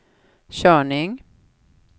körning